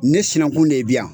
Nin sinankun de biyan